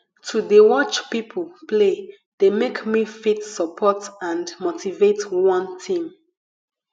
to de watch pipo play de make me fit support and motivate one team